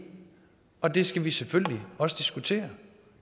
og det skal vi selvfølgelig også diskutere